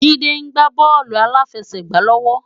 Jide gbá bòlú àláfèsègbá lòwò